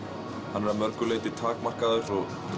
hann er að mörgu leyti takmarkaður